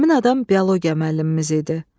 Həmin adam biologiya müəllimimiz idi.